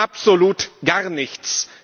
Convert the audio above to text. Absolut gar nichts!